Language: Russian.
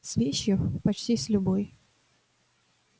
с вещью почти с любой